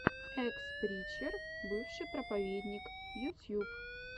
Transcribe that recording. экс причер бывший проповедник ютьюб